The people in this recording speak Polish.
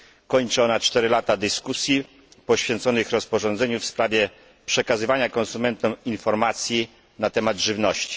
Kończy ona 4 lata dyskusji poświęconych rozporządzeniu w sprawie przekazywania konsumentom informacji na temat żywności.